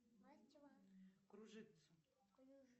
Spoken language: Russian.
кружится